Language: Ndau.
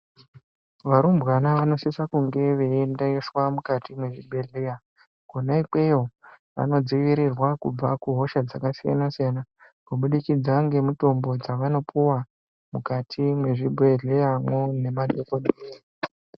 Varumbwana vanosise kunge veiendeswe mukati mwezvibhedhleya kwona ikweyo vanodziirirwa kubva kuhosha dzakasiyana siyana kubudikidza ngemutombo dzavanopuwa mukati mwezvibhedhleyamwo nemadhokodheya